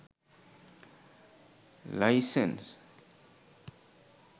license